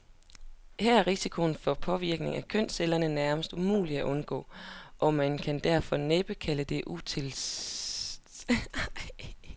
Her er risikoen for påvirkning af kønscellerne nærmest umulig at undgå, og man kan derfor næppe kalde den utilsigtet.